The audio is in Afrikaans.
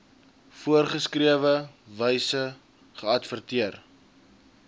voorgeskrewe wyse geadverteer